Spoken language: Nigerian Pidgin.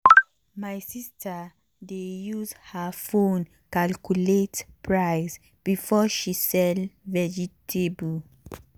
my sister dey use her phone calculate price before she sell vegetable.